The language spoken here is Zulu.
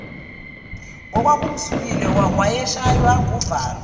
ngokwakumzumile wayeshaywa nguvalo